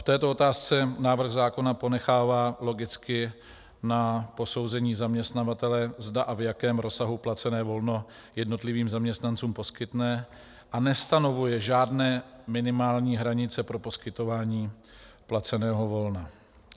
V této otázce návrh zákona ponechává logicky na posouzení zaměstnavatele, zda a v jakém rozsahu placené volno jednotlivým zaměstnancům poskytne, a nestanovuje žádné minimální hranice pro poskytování placeného volna.